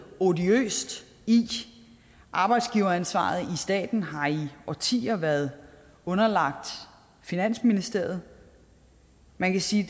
odiøst i arbejdsgiveransvaret i staten har i årtier været underlagt finansministeriet man kan sige at